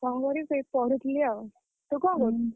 କଣ କରିବି ସେଇ ପଢୁଥିଲି ଆଉ ତୁ କଣ କରୁଚୁ?